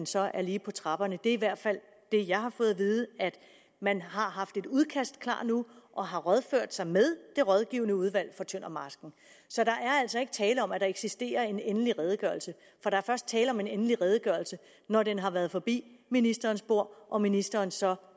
så er lige på trapperne det er i hvert fald det jeg har fået at vide at man har haft et udkast klar og har rådført sig med det rådgivende udvalg for tøndermarsken så der er altså ikke tale om at der eksisterer en endelig redegørelse for der er først tale om en endelig redegørelse når den har været forbi ministerens bord og ministeren så